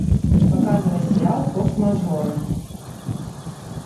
показывай сериал форс мажоры